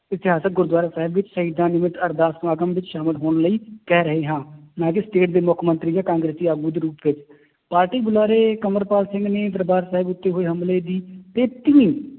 ਇਤਿਹਾਸਕ ਗੁਰੂਦੁਆਰਾ ਸਾਹਿਬ ਵਿੱਚ ਸ਼ਹੀਦਾਂ ਨਿਮਤ ਅਰਦਾਸ ਸਮਾਗਮ ਵਿੱਚ ਸ਼ਾਮਿਲ ਹੋਣ ਲਈ ਕਹਿ ਰਹੇ ਹਾਂ ਨਾ ਕਿ state ਦੇ ਮੁੱਖ ਮੰਤਰੀ ਜਾਂ ਕਾਂਗਰਸੀ ਆਗੂ ਦੇ ਰੂਪ ਵਿੱਚ, ਪਾਰਟੀ ਬੁਲਾਰੇ ਅੰਮ੍ਰਿਤਪਾਲ ਸਿੰਘ ਨੇ ਦਰਬਾਰ ਸਾਹਿਬ ਵਿੱਚ ਹੋਏ ਹਮਲੇ ਦੀ